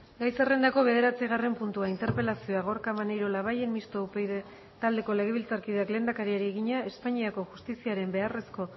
gai zerrendako bederatzigarren puntua interpelazioa gorka maneiro labayen mistoa upyd taldeko legebiltzarkideak lehendakariari egina espainiako justiziaren beharrezko